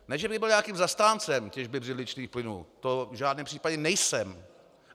Ne že bych byl nějakým zastáncem těžby břidličných plynů, to v žádném případě nejsem.